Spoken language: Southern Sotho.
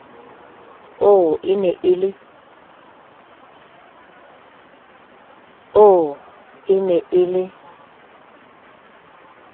oo e ne e le